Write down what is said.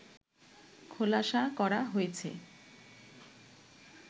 খোলাসা করা হয়েছে